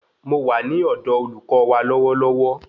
Mo wà ní ọ̀dọ olùkọ wa lọwọlọwọ